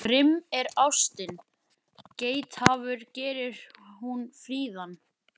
Grimm er ástin, geithafur gerir hún fríðan.